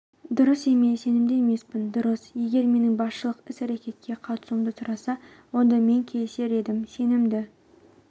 дұрыс емес сенімді емеспін дұрыс егер менің басшылық іс-әрекетке қатысуымды сұраса онда мен келісер едім сенімді